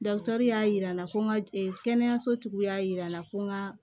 y'a jira n na ko n ka kɛnɛyaso tigiw y'a jira n na ko n ka